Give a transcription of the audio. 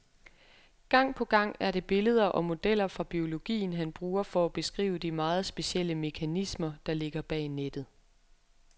Gang på gang er det billeder og modeller fra biologien, han bruger for at beskrive de meget specielle mekanismer, der ligger bag nettet.